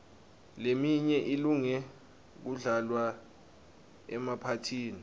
leminye ilunge kudlalwa emaphathini